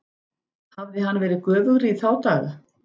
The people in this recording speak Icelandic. Hafði hann verið göfugri í þá daga?